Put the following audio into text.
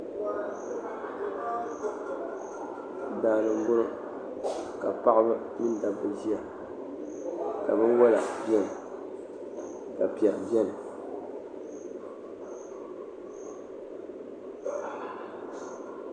Daa ni n bɔŋo ka paɣaba mini dabba ʒiya ka bin wala bɛni ka piɛri bɛni.